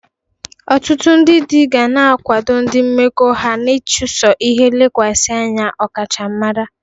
Ọtụtụ ndị di ga na-akwado ndị mmekọ ha n'ịchụso ihe lekwasị anya ọkachamara.